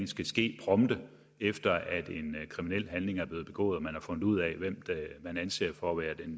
skal ske prompte efter en kriminel handling er blevet begået og man har fundet ud af hvem man anser for at være